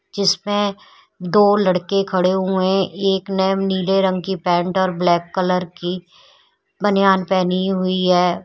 जिसमें दो लड़के खड़े हुए है एक ने नीले रंग की पेंट और ब्लैक कलर की बनियान पहनी हुई है।